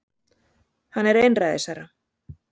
Hann er einræðisherra